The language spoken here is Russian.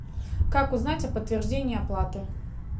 как узнать о подтверждении оплаты